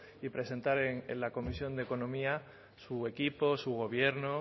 y presentar en la comisión de economía su equipo su gobierno